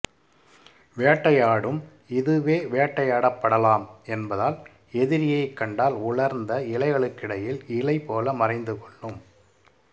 வேட்டையாடும் இதுவே வேட்டையாடப் படலாம் என்பதால் எதிரியைக் கண்டால் உலர்ந்த இலைகளுக்கிடையில் இலை போல மறைந்து கொள்ளும்